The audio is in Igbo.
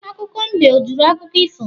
Akụkọ mbe o jụrụ akụkọ ifo?